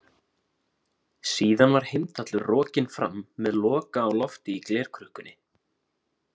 Síðan var Heimdallur rokinn fram með Loka á lofti í glerkrukkunni.